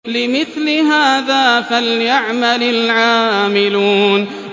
لِمِثْلِ هَٰذَا فَلْيَعْمَلِ الْعَامِلُونَ